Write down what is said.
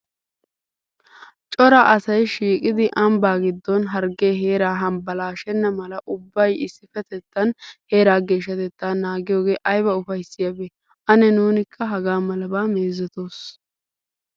Cora asay shiiqidi ambbaa giddon harggee heeraa hambbalaashenna mala ubbay issippetettan heeraa geeshshatettaa naagiyogee ayba ufayssiyabee! Ane nuunikka hagaa malabaa meezetoos.